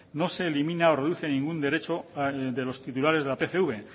no se elimina o reduce ningún derecho de los titulares de la pcv